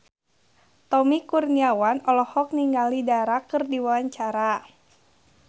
Tommy Kurniawan olohok ningali Dara keur diwawancara